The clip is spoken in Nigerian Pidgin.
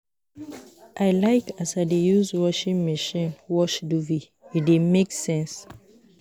I like as I dey use washing machine wash duvet, e dey make sense.